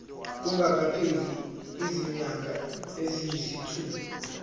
kungakapheli izinyanga eziyisithupha